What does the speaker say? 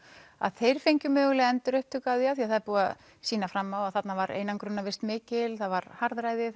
að þeir fengju mögulega endurupptöku á því af því að það er búið að sýna fram á það að þarna var einangrunarvist mikil það var harðræði